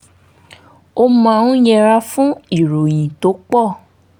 ó máa ń yẹra fún ìròyìn tó pọ̀